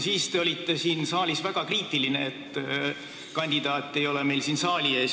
Siis te olite väga kriitiline, et kandidaat ei ole meil siin saali ees.